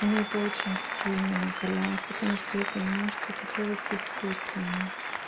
меня это очень сильно накаляет потому что я понимаю что это делается искусственно